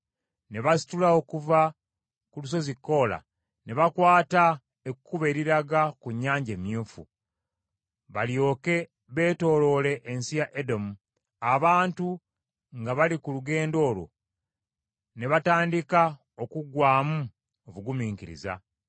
Ne basitula okuva ku lusozi Koola, ne bakwata ekkubo eriraga ku Nnyanja Emyufu, balyoke beetooloole ensi ya Edomu. Abantu nga bali ku lugendo olwo ne batandika okuggwaamu obugumiikiriza.